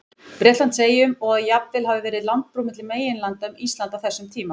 Bretlandseyjum, og að jafnvel hafi verið landbrú milli meginlanda um Ísland á þessum tíma.